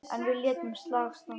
En við létum slag standa.